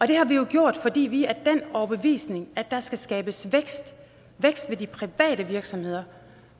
det har vi jo gjort fordi vi er af den overbevisning at der skal skabes vækst i de private virksomheder